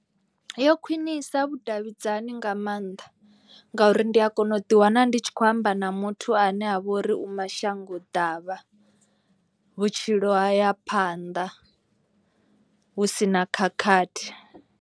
Yo khwinisa vhudavhidzani nga maanḓa ngauri ndi a kona u ḓi wana ndi tshi khou amba na muthu ane avha ori u mashango ḓavha. Vhutshilo haya phanda hu sina khakhathi.